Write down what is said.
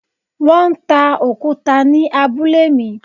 Wọ́n ń ta òkúta ni abúlé mi.